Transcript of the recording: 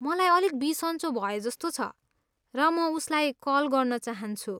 मलाई अलिक बिसन्चो भएजस्तो छ र म उसलाई कल गर्न चाहन्छु।